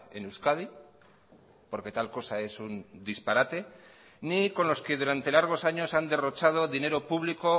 en euskadi porque tal cosa es un disparate ni con los que durante largos años han derrochado dinero público